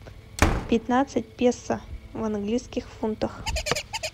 пятнадцать песо в английских фунтах